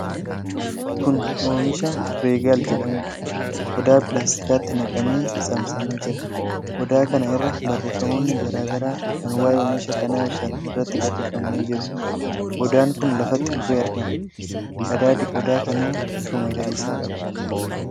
Kun oomisha Regaal jedhamuudha. Qodaa pilaastikaatti naqamee, saamsamee jira. Qodaa kana irra barreefamoonni garaa garaa kan waa'ee oomisha kanaa ibsan irratti barreeffamanii jiru. Qodaan kun lafatti kufee argama. Qadaadi qodaa kanaa bifa magariisa qaba.